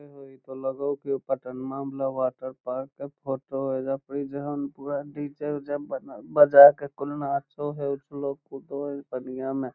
ए हो इ ते लगे होअ पटनवा वाला वाटर पार्क के फोटो हेय अइजा परी जहन पूरा डी.जे. उजे बजा के कुल नाचो हेय उछलो कूदो हेय पनिया में।